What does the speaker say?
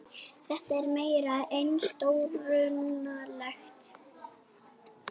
Þetta er meira en stórundarlegt